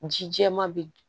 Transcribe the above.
Ji jɛman bɛ